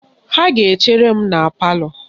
Ha ga-echere m na palọ